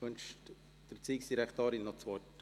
Wünscht die Erziehungsdirektorin das Wort?